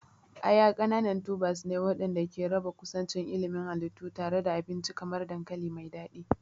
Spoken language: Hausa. Aya ƙananan tubers ne waɗanda ke raba kusancin ilimin halittu tare da abinci kamar dankali mai daɗi.